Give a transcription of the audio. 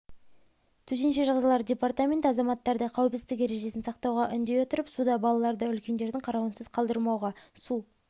төтенше жағдайлар департаменті азаматтарды қауіпсіздік ережесін сақтауға үндей отырып суда балаларды үлкендердің қарауынсыз қалдырмауға су